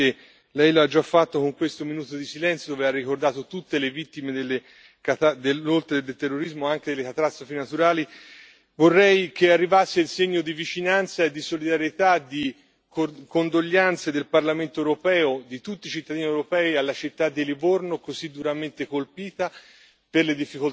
Io vorrei, signor Presidente Lei lo ha già fatto con questo minuto di silenzio, dove ha ricordato tutte le vittime, oltre che del terrorismo, anche delle catastrofi naturali che arrivasse il segno di vicinanza, di solidarietà e di cordoglio del Parlamento europeo, di tutti i cittadini europei, alla città di Livorno, così duramente colpita